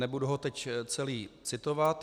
Nebudu ho teď celý citovat.